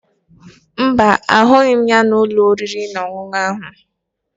Mba, ahụghị m ya n'ụlọ oriri na ọṅụṅụ ahụ